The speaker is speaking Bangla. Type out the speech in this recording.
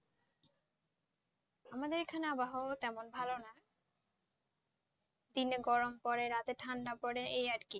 আমাদের এখানে আবহাওয়া তেমন ভালো না, দিনে গরম পড়ে রাতে ঠান্ডা পড়ে এই আর কি,